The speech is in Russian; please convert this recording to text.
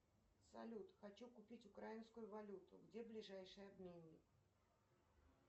салют хочу купить украинскую валюту где ближайший обменник